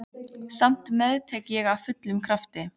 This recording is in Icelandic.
Samt meðtek ég af fullum krafti.